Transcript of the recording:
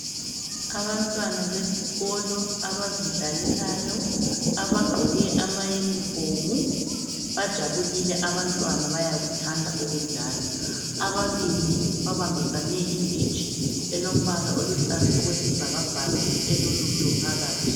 Abantwana besikolo abazidlalelayo abagqoke ama uniform bajabulile abantwana, bayakuthanda ukudlala. Ababili babambisane inditshi elombala oluhlaza okwesibhakabhaka elolutho phakathi.